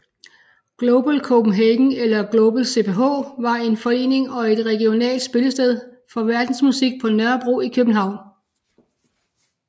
Global Copenhagen eller Global CPH var en forening og et regionalt spillested for verdensmusik på Nørrebro i København